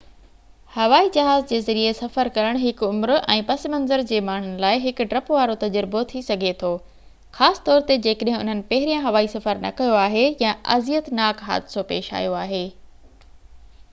هوائي جهاز جي ذريعي سفر ڪرڻ هر عمر ۽ پس منظر جي ماڻهن جي لاءِ هڪ ڊپ وارو تجربو ٿي سگهي ٿو خاص طور تي جيڪڏهن انهن پهريان هوائي سفر نہ ڪيو آهي يا اذيتناڪ حادثو پيش آيو آهي